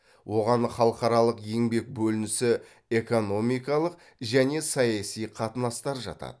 оған халықаралық еңбек бөлінісі экономикалық және саяси қатынастар жатады